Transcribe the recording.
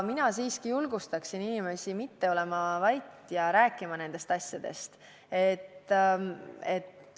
Mina julgustaksin siiski inimesi mitte olema vait ja rääkima nendest asjadest.